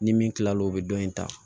Ni min kila l'o o bɛ dɔ in ta